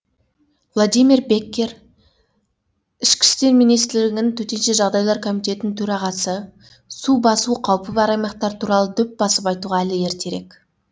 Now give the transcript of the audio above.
владимир беккер ішкі істер министрлігі төтенше жағдайлар комитетінің төрағасы су басу қаупі бар аймақтар туралы дөп басып айтуға әлі ертерек